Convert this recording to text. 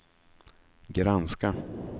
granska